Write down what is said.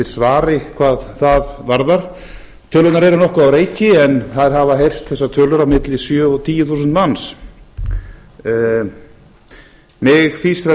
svari hvað það varðar tölurnar eru nokkuð á reiki en þær hafa heyrst þessar tölur á milli sjö og tíu þúsund manns mig fýsir að